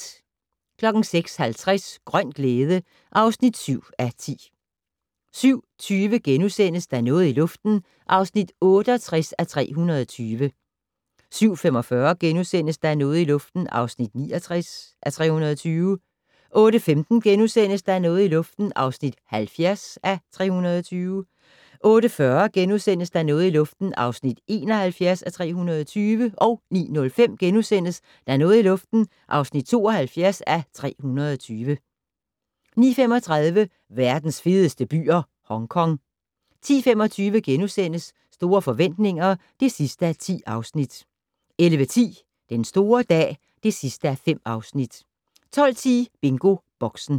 06:50: Grøn glæde (7:10) 07:20: Der er noget i luften (68:320)* 07:45: Der er noget i luften (69:320)* 08:15: Der er noget i luften (70:320)* 08:40: Der er noget i luften (71:320)* 09:05: Der er noget i luften (72:320)* 09:35: Verdens fedeste byer - Hongkong 10:25: Store forretninger (10:10)* 11:10: Den store dag (5:5) 12:10: BingoBoxen